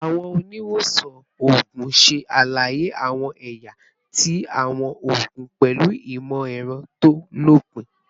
Awọn oniwosan oogun ṣe alaye awọn ẹya ti awọn oogun pẹlu imọ-ẹrọ to lopin